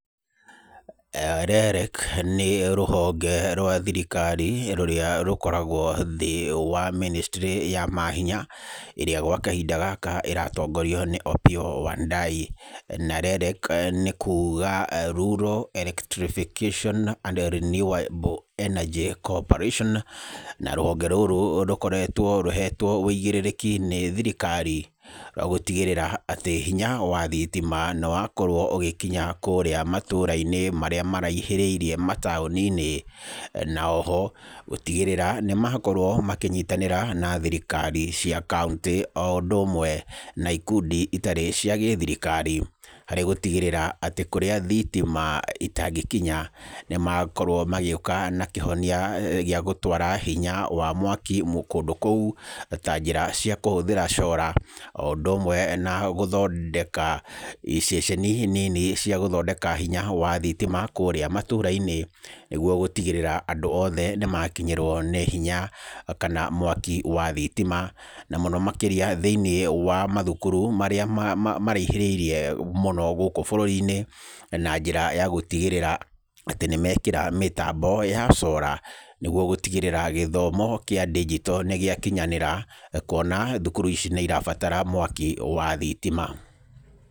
REREC nĩ rũhonge rwa thirikari rũrĩa rũkoragwo thĩ wa ministry ya mahinya, ĩrĩa gwa kahinda gaka ĩratongorio nĩ Opiyo Wandayi. Na REREC nĩ kuuga Rural Electrification and Renewable Energy Coorperation, na rũhonge rũrũ rũkoretwo rũhetwo wĩigĩrĩrĩki nĩ thirikari wa gũtigĩrĩra atĩ hinya wa thitima nĩwakorwo ũgĩkinya kũũrĩa matũũra-inĩ marĩa maraihĩrĩirie mataũni-inĩ, na oho gũtigĩrĩra nĩmakorwo makĩnyitanĩra na thirikari cia kaũntĩ oũndũ ũmwe na ikundi itarĩ cia gĩthirikari, harĩ gũtigĩrĩra atĩ kũrĩa thitima itangĩkinya nĩmakorwo magĩũka na kĩhonia gĩa gũtwara hinya wa mwaki mũ, kũndũ kũu ta njĩra cia kũhũthĩra solar oũndũ ũmwe na gũthondeka iceceni nini cia gũthondeka hinya wa thitima kũũrĩa matũũra-inĩ, nĩgwo gũtigĩrĩra andũ othe nĩmakinyĩrwo nĩ hinya kana mwaki wa thitima, na mũno makĩria thĩiniĩ wa mathukuru marĩa ma, ma, maraihĩrĩirie mũno gũkũ bũrũri-inĩ na njĩra ya gũtigĩrĩra atĩ nĩmekĩra mĩtambo ya solar, nĩgwo gũtigĩrĩra gĩthomo kĩa ndigito nĩgĩakinyanĩra, kwona thukuru ici nĩirabatara mwaki wa thitima.